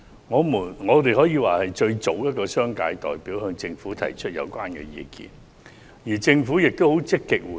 我們可以說是最早向政府提出有關意見的商界代表，而政府也很積極回應。